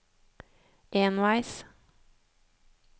enveis